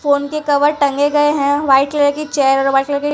Phone के cover टंगे गये है। व्हाइट कलर की चेयर --